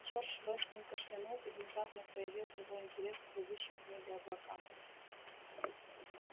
джордж вестон кашлянул и внезапно проявил живой интерес к плывущим в небе облакам